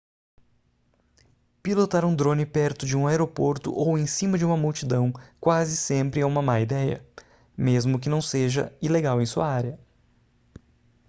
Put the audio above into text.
pilotar um drone perto de um aeroporto ou em cima de uma multidão quase sempre é uma má ideia mesmo que não seja ilegal em sua área